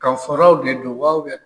Kafaraw de don wa